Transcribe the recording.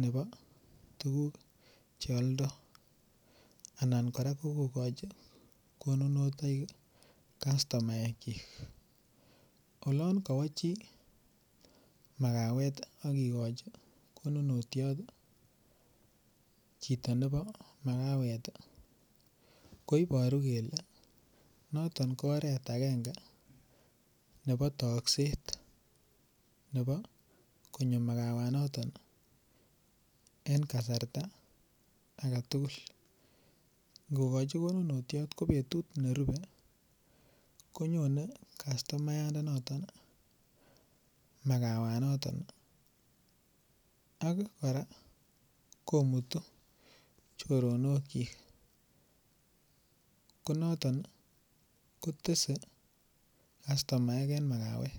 nebo tuguk cheoldo anan koraa kokochi konunotoik kastumaekyik olon kowo chi makawet ak kikochi konunotiot chito nebo makawet koiboru kele noton kooret agenge nebo tokset nebo konyo makawanoto en kasarta aketugul ingokochi konunotiot ko en betut nerube konyone kastumayandonoton makawanoton ak koraa komutu chotonokyik konoton kotese kastumaek en makawet.